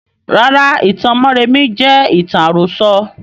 Rárá, ìtàn mọ́remí jẹ ìtàn àrọ̀sọ̀